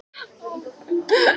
Með öðrum orðum.